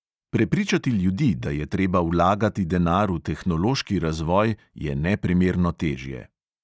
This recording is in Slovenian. Prepričati ljudi, da je treba vlagati denar v tehnološki razvoj, je neprimerno težje.